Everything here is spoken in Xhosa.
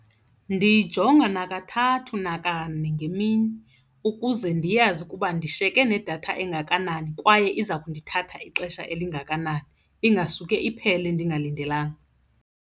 Ndiyijonga nakathathu nakane ngemini ukuze ndiyazi ukuba ndishiyeke nedatha engakanani kwaye iza kundithatha ixesha elingakanani, ingasuke iphele ndingalindelanga.